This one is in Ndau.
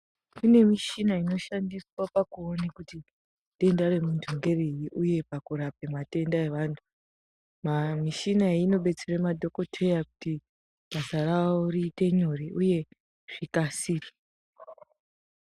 Kune mishina inoshandiswa pakuone kuti ,denda remuntu ngeriri uye pakurape matenda evantu. Maamishina iyi inodetsere madhokodheya kuti, basa ravo riite nyore, uye zvikasire.